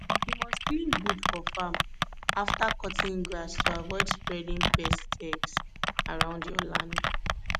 you must clean boot for farm after cutting grass to avoid spreading pests eggs around your land